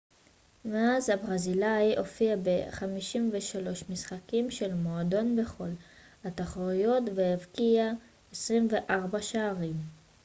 מאז הברזילאי הופיע ב-53 משחקים של המועדון בכל התחרויות והבקיע 24 שערים